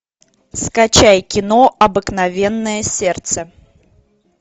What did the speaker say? скачай кино обыкновенное сердце